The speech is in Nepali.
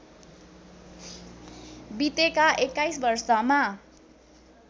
बितेका २१ वर्षमा